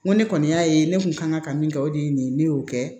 N ko ne kɔni y'a ye ne kun kan ka min kɛ o de ye nin ye ne y'o kɛ